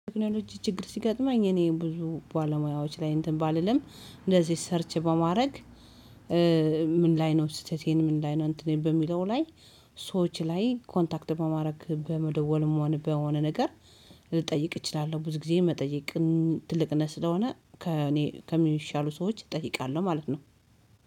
ቴክኖሎጂ ችግር ሲገጥማኝ እኔ ብዙ ባለሙያዎች ላይ እንትን ባልልም እንደዚህ ሰርች በማድረግ ምን ላይ ነው ስህተቴ ምን ላይ ነው እንትኔን በሚለው ላይ? ሰዎች ላይ ኮንታክት በማድረግ በመደወልም በሆነ ነገር ልጠይቅ እችላለሁ። ብዙ ጊዜ መጠየቅን ትልቅነት ስለሆነ ከእኔ ከሚሻሉ ሰዎች እጠይቃለሁ ማለት ነው።